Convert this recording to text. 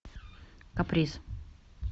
каприз